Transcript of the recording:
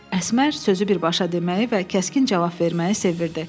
Əsmər sözü birbaşa deməyi və kəskin cavab verməyi sevirdi.